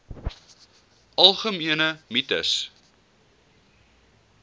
algemene mites